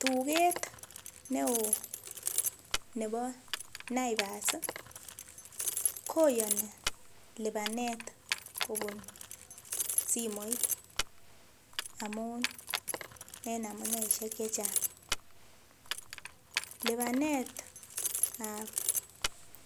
Tugeet ne oo nebo naivas koyoni libanet kobun simoit amun en amuneishek chechang, libanetab